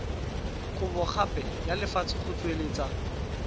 kabogape ya lefatshe go tsweletsa